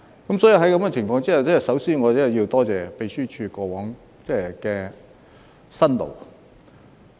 在這情況下，我真的首先要多謝秘書處過往的辛勞。